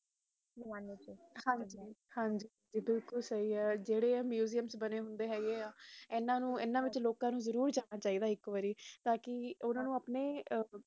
ਉਸ ਜ਼ਮਾਨੇ ਤੇ ਹਨ ਜੀ ਹਨ ਜੀ ਬਿਲਕੁਲ ਜ਼ੀਰੇ ਆਮਾਲੂਨ ਹੋ ਕ ਏ ਮੁਸ਼ਮ ਜੇ ਬਾਣੀ ਹੋਂਦੇ ਆ ਇਨ੍ਹਾਂ ਨੂੰ ਇਨ੍ਹਾਂ ਵਿਚ ਲੋਕਾਂ ਨੂੰ ਜ਼ਰੂਰ ਜਾਣਾ ਚਾਹੀਏ ਦਾ ਹੈ ਇਕ ਬੜੀ ਤਾ ਕ